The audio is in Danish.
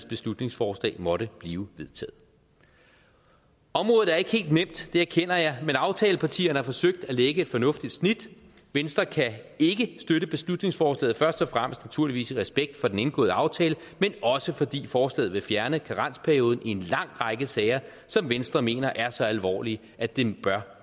beslutningsforslag måtte blive vedtaget området er ikke helt nemt det erkender jeg men aftalepartierne har forsøgt at lægge et fornuftigt snit venstre kan ikke støtte beslutningsforslaget først og fremmest naturligvis i respekt for den indgåede aftale men også fordi forslaget vil fjerne karensperioden i en lang række sager som venstre mener er så alvorlige at det bør